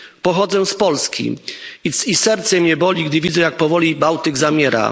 Pochodzę z Polski i serce mnie boli gdy widzę jak powoli Bałtyk zamiera.